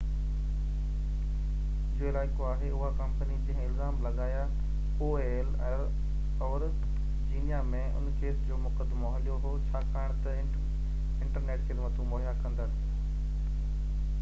Virginia ۾ ان case جو مقدمو هليو هو ڇاڪاڻ تہ انٽرنيٽ خدمتون مهيا ڪندڙ aol جو علائقو آهي اها ڪمپني جنهن الزام لڳايا